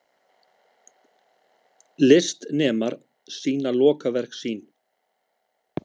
Listnemar sýna lokaverk sín